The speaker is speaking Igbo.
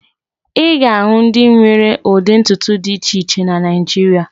Ị ga-ahụ ndị nwere ụdị ntutu dị iche iche na Naịjirịa